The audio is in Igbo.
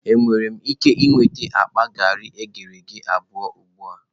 Enwere m ike nweta akpa garị eghere eghe abụọ ugbu a?